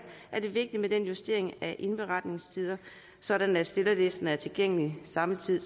er det vigtigt med den justering af indberetningstider sådan at stillerlisten er tilgængelig samtidig